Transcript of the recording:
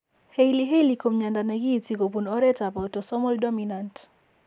Hailey Hailey ko mnyando ne kiinti kobun oretap autosomal dominant.